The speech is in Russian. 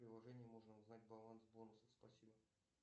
в приложении можно узнать баланс бонусов спасибо